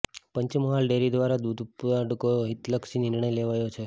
Panchmahal dairy દ્વારા દૂધ ઉત્પાદકો માટે હિતલક્ષી નિર્ણય લેવાયો છે